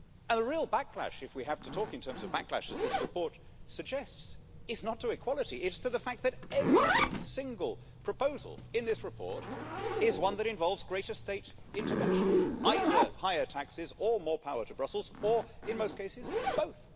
A real backlash, if we have to talk in terms of backlash as this report suggests is not to equality, it is to the fact that every single proposal in this report is one that involves greater state intervention either higher taxes or more power to Brussels, or in most cases both.